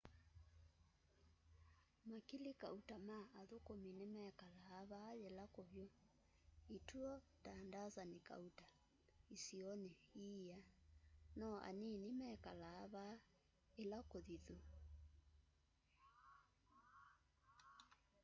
makili kauta ma athukumi nimekalaa vaa yila kuvyu ituo ta ndasani kauta isioni iia no anini mekalaa vaa ila kuthithu